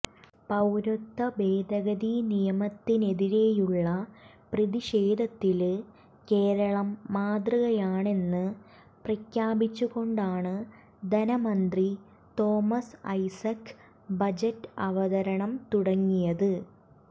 പൌരത്വ ഭേദഗതി നിയമത്തിനെതിരെയുള്ള പ്രതിഷേധത്തില് കേരളം മാതൃകയാണെന്ന് പ്രഖ്യാപിച്ചുകൊണ്ടാണ് ധനമന്ത്രി തോമസ് ഐസക് ബജറ്റ് അവതരണം തുടങ്ങിയത്